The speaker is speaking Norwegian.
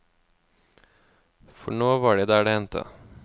For nå var de der det hendte.